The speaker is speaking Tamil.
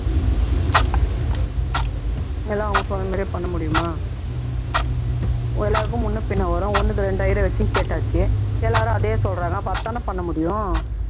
எல்லாம் அவங்க சொன்னமாதிரியே பண்ண முடியுமா எல்லாருக்கும் முன்ன பின்ன வரும் ஒன்னுக்கு இரண்டு ஐயரை வச்சும் கேட்டாச்சு எல்லாரும் அதே சொல்றாங்க அப்பறம் அதைதான பண்ண முடியும்